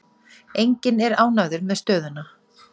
Enginn er ánægður með stöðuna.